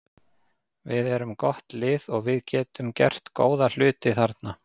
Við erum gott lið og við getum gert góða hluti þarna.